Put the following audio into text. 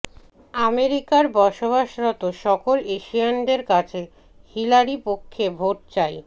অামেরিকার বসবাসরত সকল এশিয়ানদের কাছে হিলারী পক্ষে ভোট চাই